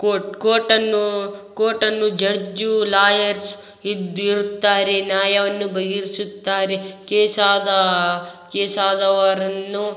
court court ಅನ್ನು court ಅನ್ನು judge lawyers ಇದ್ದಿರುತ್ತಾರೆ ನಾಯವನ್ನು ಬಗೆ ರಿಸುತ್ತಾರೆ ಕೇಸ್ ಆದಾ ಕೇಸ್ ಆದವರನ್ನು--